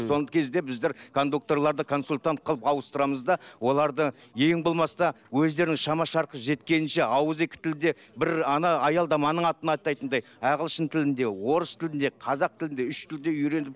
соңғы кезде біздер кондукторларды консультант қылып ауытсырамыз да оларды ең болмаса өздерінің шама шарқы жеткенінше ауызекі тілде бір ана аялдаманың атын атайтындай ағылшын тілінде орыс тілінде қазақ тілінде үш тілде үйреніп